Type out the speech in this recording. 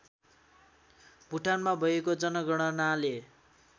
भुटानमा भएको जनगणनाले